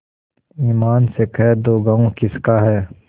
ईमान से कह दो गॉँव किसका है